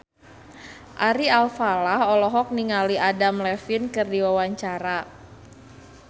Ari Alfalah olohok ningali Adam Levine keur diwawancara